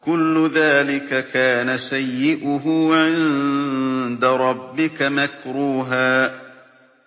كُلُّ ذَٰلِكَ كَانَ سَيِّئُهُ عِندَ رَبِّكَ مَكْرُوهًا